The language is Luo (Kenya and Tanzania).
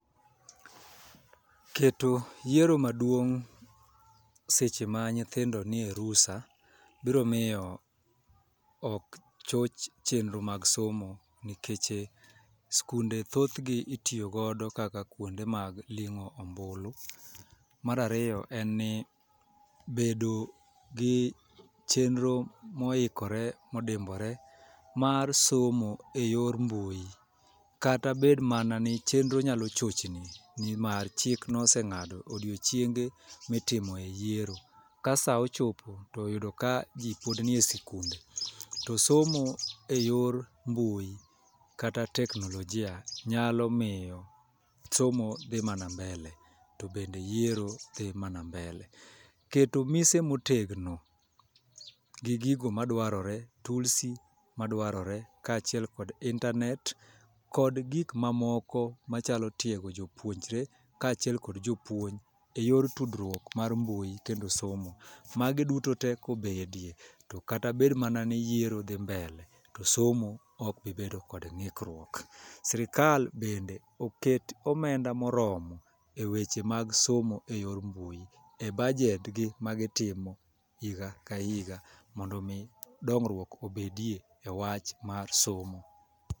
Keto yiero maduong' seche ma nyithindo nie rusa biro miyo ok choch chenro mag somo nikeche skunde thothgi itiyogo kaka kuonde mag ling'o ombulu. Mar ariyo en ni bedo gi chenro moikore modimbore mar somo e yor mbui kata bed mana ni chenro nyalo chochni nimar chik noseng'ado odiochienge mitimoe yiero. Ka sa ochopo to oyudo ka ji pod nie sikunde to somo e yor mbui kata teknolojia nyalo miyo somo dhi mana mbele to bende yiero dhi mana mbele. Keto mise motegno gi gigo madwarore tulsi madwarore kaachiel kod intanet kod gikmamoko machalo tiego jopuonjre kaachiel kod jopuonj e yor tudruok mar mbui kendo somo magi duto te kobedie to kata bed mana ni yiero dhi mbele to somo okbibedo gi ng'ikruok. Sirikal bende oket omenda moromo e weche mag somo e yor mbui e bajedgi magitimo higa ka higa mondo omi dongruok obedie e wach mar somo.